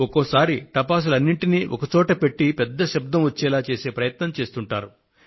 ఒక్కొక్క సారి టపాసులన్నింటినీ ఒకే చోట పెట్టి పెద్ద శబ్దం వచ్చే ప్రయత్నం చేస్తుంటారు